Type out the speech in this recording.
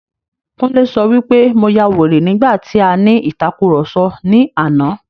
Kúnlé sọ wí pé mo ya wèrè nígbà tí a ní ìtàkurọ̀sọ ní àná.